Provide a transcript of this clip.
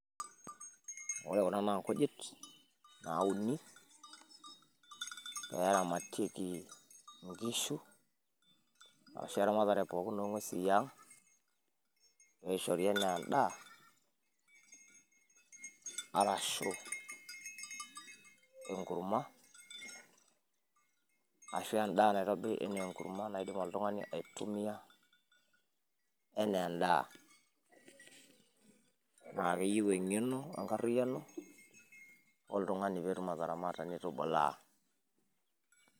ore kuna naa nkujit nauni pee eramtieki nkishu, ashu eramatre pookin oong'uesi yiang',pee eishori anaa edaa, arashu enkurma, ashu enkurma naidim oltungani aitumia anaa edaa. naa keyieu engeno ashu enkariyiano oltungani pee etum atareto neitubulaa.